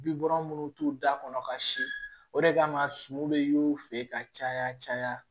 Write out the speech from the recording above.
Bi bɔra minnu t'u da kɔnɔ ka si o de kama sumu bɛ y'u fɛ ka caya caya